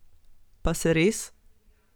Pa se res?